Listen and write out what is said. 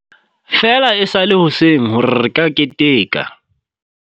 Feela e sa le hoseng hore re ka keteka.